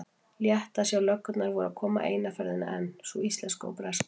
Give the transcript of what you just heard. Létti að sjá að löggurnar voru að koma eina ferðina enn, sú íslenska og breska.